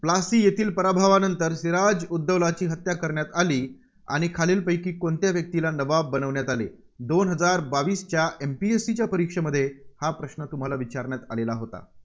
प्लासी येथील पराभवानंतर सिराज उद दौलाची हत्या करण्यात आली आणि खालीलपैकी कोणत्या व्यक्तीला नवाब बनवण्यात आले? दोन हजार बावसीच्या MPSC च्या परीक्षेमध्ये हा प्रश्न तुम्हाला विचारण्यात आलेला होता.